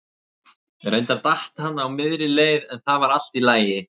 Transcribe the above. Reyndar datt hann á miðri leið en það var allt í lagi.